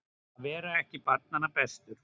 Að vera ekki barnanna bestur